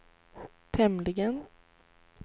tämligen